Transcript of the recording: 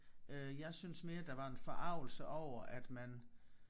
Øh jeg synes mere der var en forargelse over at man